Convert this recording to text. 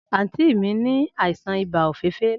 Anti mi ni aisan iba ofeefee lana.